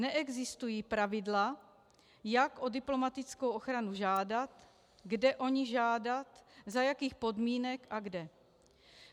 Neexistují pravidla, jak o diplomatickou ochranu žádat, kde o ni žádat, za jakých podmínek a kde.